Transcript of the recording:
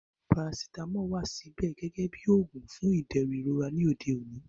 Parasitamọ ṣíì wà síbẹ̀ gẹ́gẹ́ bí oògùn fún ìdẹ̀rùn ìrora ní òde òní